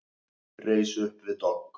Reis upp við dogg.